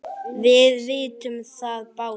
Við vitum það báðar.